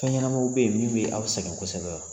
Fɛn ɲɛnamaw bɛ ye min bɛ aw sɛgɛn kosɛbɛ wa?